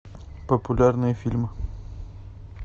популярные фильмы